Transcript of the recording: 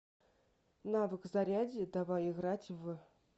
навык зарядье давай играть в